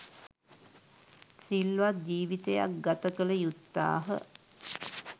සිල්වත් ජීවිතයක් ගත කළ යුත්තාහ.